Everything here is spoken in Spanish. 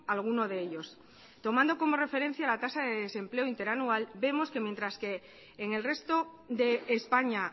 alguno de ellos tomando como referencia la tasa de desempleo interanual vemos que mientras que en el resto de españa